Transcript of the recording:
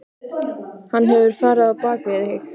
Hann hefur farið á bak við þig.